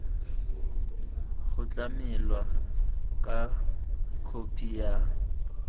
go tlamelwa ka khophi ya